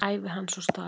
Ævi hans og starf.